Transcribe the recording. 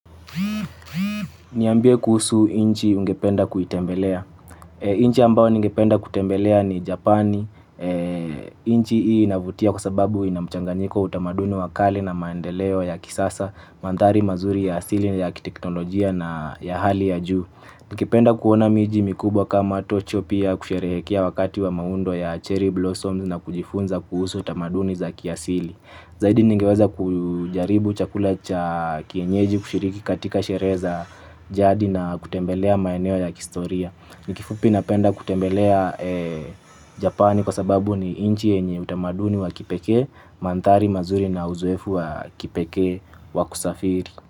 Niambie kuhusu nchi ungependa kuitembelea. Nchi ambayo ningependa kutembelea ni Japani. Nchi hii inavutia kwa sababu ina mchanganiko, utamaduni wa kale na maendeleo ya kisasa, mandhari mazuri ya asili na ya kiteknolojia na ya hali ya juu. Ningependa kuona miji mikubwa kama Tokyo pia kusherehekea wakati wa maundo ya cherry blossoms na kujifunza kuhusu utamaduni za kiasili. Zaidi ningeweza kujaribu chakula cha kienyeji, kushiriki katika sherehe za jadi na kutembelea maeneo ya kihistoria. Kifupi napenda kutembelea Japani kwa sababu ni nchi yenye utamaduni wa kipekee, mandhari mazuri na uzoefu wa kipekee wa kusafiri.